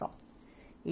Só. E